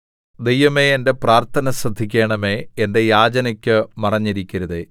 ദൈവമേ എന്റെ പ്രാർത്ഥന ശ്രദ്ധിക്കണമേ എന്റെ യാചനയ്ക്ക് മറഞ്ഞിരിക്കരുതേ